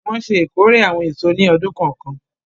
Wọn ṣe ìkórè awọn eso ni ọdun kọọkan.